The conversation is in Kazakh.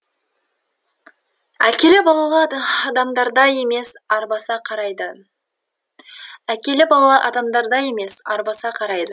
әкелі балалы адамдардай емес арбаса қарайды әкелі балалы адамдардай емес арбаса қарайды